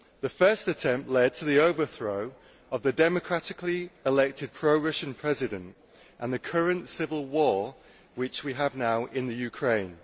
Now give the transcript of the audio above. The first attempt led to the overthrow of the democratically elected pro Russian President and the current civil war which we have now in the Ukraine.